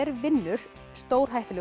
vinnur stórhættulegu